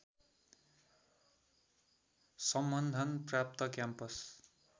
सम्बन्धन प्राप्त क्याम्पस